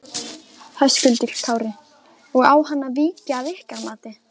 Höskuldur Kári: Og á hann að víkja að ykkar mati?